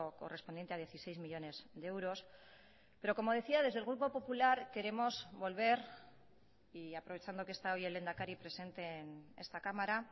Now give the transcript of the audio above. correspondiente a dieciséis millónes de euros pero como decía desde el grupo popular queremos volver y aprovechando que está hoy el lehendakari presente en esta cámara